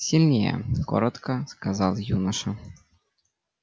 сильнее коротко сказал юноша